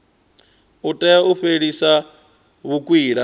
u itela u fhelisa vhukwila